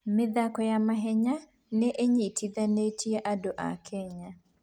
mĩthako ya mahenya nĩ ĩnyitithanĩtie andũ a Kenya.